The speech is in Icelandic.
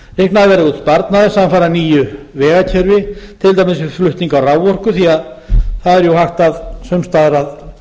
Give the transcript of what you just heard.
út sparnaður samfara nýju vegakerfi til dæmis við flutning á raforku því að það er jú hægt sums staðar að